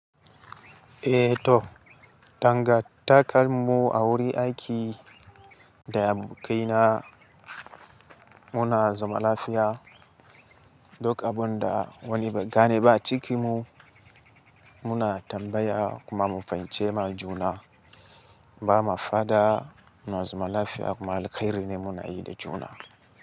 Eh to danga takalmu a wurin aiki da abokaina muna zaman lafiya. Duk abunda wani bai gane ba a cikin mu muna tambaya kuma mu fahimce ma juna. Ba ma fada muna zaman lafiya kuma alheri ne muna yi da juna.